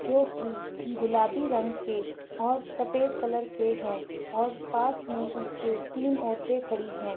जो की गुलाबी रंग के और सफेद कलर के है और पास मे उसके तीन औरते खड़ी है।